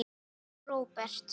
Anna og Róbert.